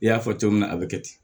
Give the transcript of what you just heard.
I y'a fɔ cogo min na a bɛ kɛ ten